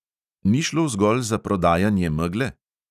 Ni šlo zgolj za prodajanje megle?